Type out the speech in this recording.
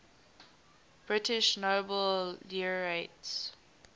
british nobel laureates